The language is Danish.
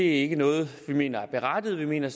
ikke noget vi mener er berettiget vi mener